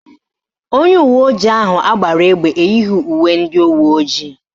Onye uweojii ahụ agbara egbe eyighi uwe ndị uweojii